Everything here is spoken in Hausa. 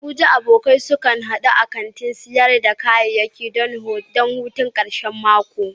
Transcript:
A Abuja, abokai sukan hadu a kantin sayar da kayayyaki don hutun karshen mako?